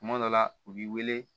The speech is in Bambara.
Kuma dɔ la u b'i wele